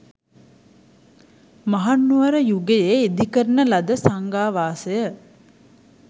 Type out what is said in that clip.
මහනුවර යුගයේ ඉදිකරන ලද සංඝාවාසය